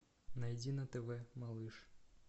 найди на тв малыш